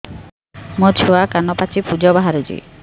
ମୋ ଛୁଆ କାନ ପାଚି ପୂଜ ବାହାରୁଚି